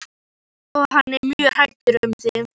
Og hann er mjög hræddur um þig.